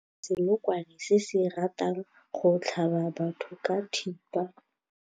Re bone senokwane se se ratang go tlhaba batho ka thipa.